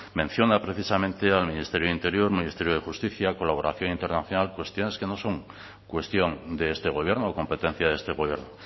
menciona precisamente al ministerio de interior ministerio de justicia colaboración internacional cuestiones que no son cuestión de este gobierno o competencia de este gobierno